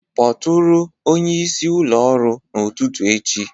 Kpọtụrụ onye isi ụlọ ọrụ n'ụtụtụ echi